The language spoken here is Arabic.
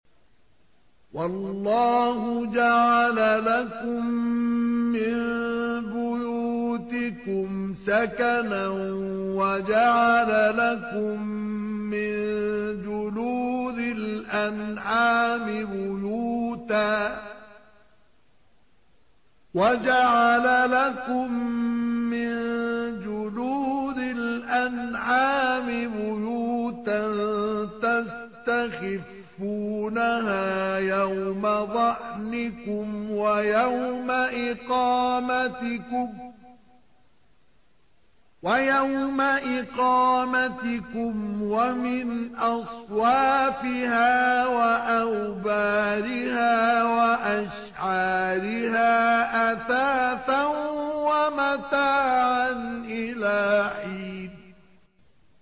وَاللَّهُ جَعَلَ لَكُم مِّن بُيُوتِكُمْ سَكَنًا وَجَعَلَ لَكُم مِّن جُلُودِ الْأَنْعَامِ بُيُوتًا تَسْتَخِفُّونَهَا يَوْمَ ظَعْنِكُمْ وَيَوْمَ إِقَامَتِكُمْ ۙ وَمِنْ أَصْوَافِهَا وَأَوْبَارِهَا وَأَشْعَارِهَا أَثَاثًا وَمَتَاعًا إِلَىٰ حِينٍ